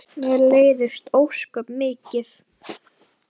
Mér leiðist það ósköp mikið.